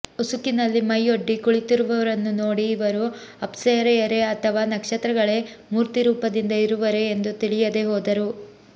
ಉಸುಕಿನಲ್ಲಿ ಮೈಯೊಡ್ಡಿ ಕುಳಿತಿರುವವರನ್ನು ನೋಡಿ ಇವರು ಅಪ್ಸರೆಯರೆ ಅಥವಾ ನಕ್ಷತ್ರಗಳೇ ಮೂರ್ತಿರೂಪದಿಂದ ಇರುವರೇ ಎಂದು ತಿಳಿಯದೇ ಹೋದರು